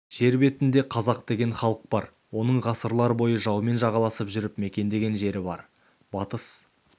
жер бетінде қазақ деген халық бар оның ғасырлар бойы жаумен жағаласып жүріп мекендеген жері бар батыс